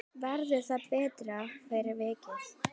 Verður það betra fyrir vikið?